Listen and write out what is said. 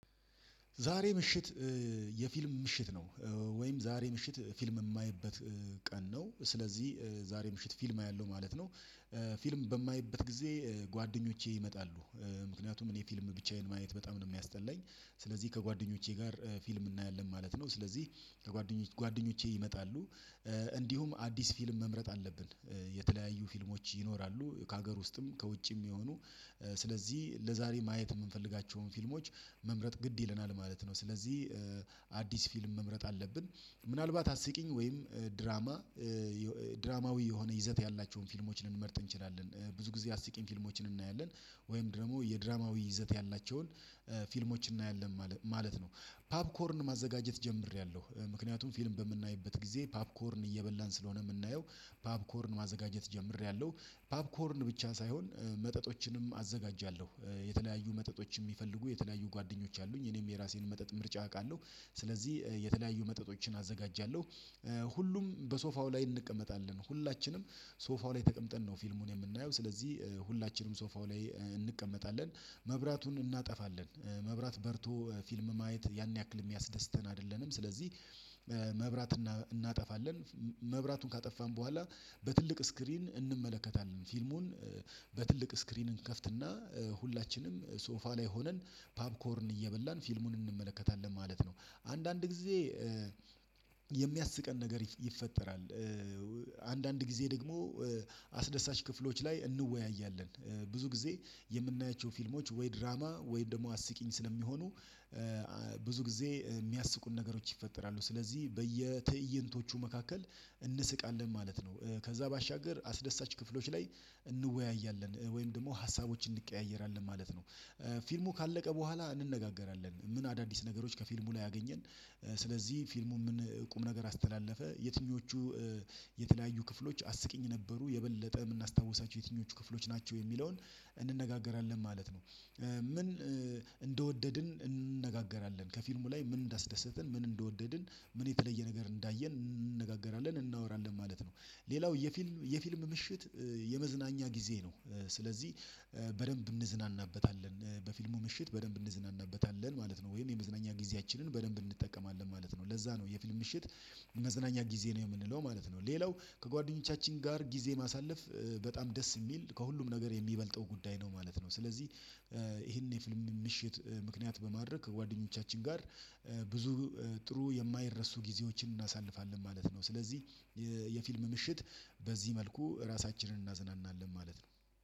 ዛሬ ምሽት የፊልም ምሽት ነው። ወይም ዛሬ ምሽት ፊልም የማይበት ቀን ነው። ስለዚህ ዛሬ ምሽት ፊልም አያለው ማለት ነው። ፊልም በማይበት ጊዜ ጓደኞቼ ይመጣሉ። ምክንያቱም እኔ ፊልም ብቻዬን ማየት በጣም ነው የሚያስጠለኝ። ስለዚህ ከጓደኞቼ ጋር ፊልም እናያለን ማለት ነው። ስለዚህ ከጓደኞቼ ጓደኞቼ ይመጣሉ። እንዲሁም አዲስ ፊልም መምረጥ አለብን። የተለያዩ ፊልሞች ይኖራሉ ከሀገር ውስጥም ከውጭም የሚሆኑ። ስለዚህ ለዛሬ ማየት የምንፈልጋቸውን ፊልሞች መምረጥ ግድ ይለናል ማለት ነው። ስለዚህ አዲስ ፊልም መምረጥ አለብን። ምናልባት አስቂኝ ወይም ድራማ ድራማዊ የሆነ ይዘት ያላቸውን ፊልሞችን ልንመርጥ እንችላለን ብዙ ጊዜ አስቂኝ ፊልሞችን እናያለን። ወይም ደግሞ የድራማዊ ይዘት ያላቸውን ፊልሞችን እናያለን ማለት ነው። ፓብኮርን ማዘጋጀት ጀምሬያለሁ ምክንያቱም ፊልም በምናይበት ጊዜ ፓብኮርን እየበላን ስለሆነ የምናየው ፓብኮርን ማዘጋጀት ጀምሬያለሁ። ፓብኮርን ብቻ ሳይሆን መጠጦችንም አዘጋጃለሁ። የተለያዩ መጠጦች የሚፈልጉ የተለያዩ ጓደኞች አሉኝ እኔም የራሴን መጠጥ ምርጫ አውቃለሁ። ስለዚህ የተለያዩ መጠጦችን አዘጋጃለሁ። ሁሉም በሶፋው ላይ እንቀመጣለን ሁላችንም ሶፋው ላይ ተቀምጠን ነው ፊልሙን የምናየው ስለዚህ። ሁላችንም ሶፋው ላይ እንቀመጣለን መብራቱን እናጠፋለን። መብራት በርቶ ፊልም ማየት ያን ያክል የሚያስደስተን አይደለንም ስለዚህ። መብራት እናጠፋለን። መብራቱን ካጠፋን በኋላ በትልቅ ስክሪን እንመለከታለን ፊልሙን። በትልቅ ስክሪን እንከፍትና ሁላችንም ሶፋ ላይ ሆነን ፓብኮርን እየበላን ፊልሙን እንመለከታለን ማለት ነው። አንዳንድ ጊዜ የሚያስቀን ነገር ይፈጠራል። አንዳንድ ጊዜ ደግሞ አስደሳች ክፍሎች ላይ እንወያያለን። ብዙ ጊዜ የምናያቸው ፊልሞች ወይ ድራማ ወይ ደግሞ አስቂኝ ስለሚሆኑ ብዙ ጊዜ የሚያስቁን ነገሮች ይፈጠራሉ ስለዚህ በየትእይንቶቹ መካከል እንስቃለን ማለት ነው። ከዛ ባሻገር አስደሳች ክፍሎች ላይ እንወያያለን ወይም ደግሞ ሀሳቦችን እንቀያየራለን ማለት ነው። ፊልሙ ካለቀ በኋላ እንነጋገራለን ምን አዳዲስ ነገሮች ከፊልሙ ላይ አገኘን። ስለዚህ ፊልሙ ምን ቁም ነገር አስተላለፈ የትኞቹ የተለያዩ ክፍሎች አስቂኝ ነበሩ የበለጠ የምናስታውሳቸው የትኞቹ ክፍሎች ናቸው የሚለውን እንነጋገራለን። ማለት ነው እንደወደድን እንነጋገራለን ከፊልሙ ላይ ምን እንዳስደሰትን ምን እንደወደድን ምን የተለየ ነገር እንዳየን እንነጋገራለን እናወራለን ማለት ነው። ሌላው የፊልም የፊልም ምሽት የመዝናኛ ጊዜ ነው። ስለዚህ በደንብ እንዝናናበታለን በፊልሙ ምሽት በደንብ እንዝናናበታለን ማለት ነው። ወይም የመዝናኛ ጊዜያችንን በደንብ እንጠቀማለን ማለት ነው። ለዛ ነው የፊልም ምሽት መዝናኛ ጊዜ ነው የምንለው ማለት ነው። ሌላው ከጓደኞቻችን ጋር ጊዜ ማሳለፍ በጣም ደስ የሚል ከሁሉም ነገር የሚበልጠው ጉዳይ ነው ማለት ነው። ስለዚህ ይሄን የፊልም ምሽት ምክንያት በማድረግ ከጓደኞቻችን ጋር ብዙ ጥሩ የማይረሱ ጊዜዎችን እናሳልፋለን ማለት ነው። ስለዚህ የፊልም ምሽት በዚህ መልኩ ራሳችንን እናዝናናለን ማለት ነው።